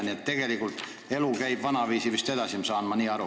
Nii et tegelikult läheb elu vist vanaviisi edasi, saan ma aru.